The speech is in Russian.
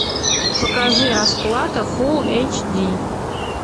покажи расплата фул эйч ди